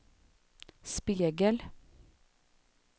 spegel